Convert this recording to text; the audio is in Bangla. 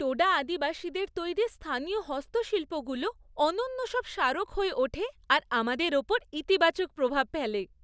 টোডা আদিবাসীদের তৈরি স্থানীয় হস্তশিল্পগুলো অনন্য সব স্মারক হয়ে ওঠে আর আমাদের ওপর ইতিবাচক প্রভাব ফেলে।